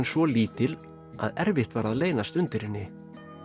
svo lítil að erfitt var að leynast undir henni